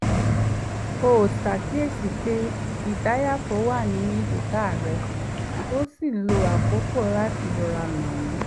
ó kíyèsíi pé ìdàáyàfò wà ní èjìká rẹ̀ ó sì lo àkókò láti rọra nà wọ́n